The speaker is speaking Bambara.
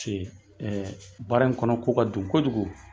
ɛɛ baara in kɔnɔ ko ka dun kojugu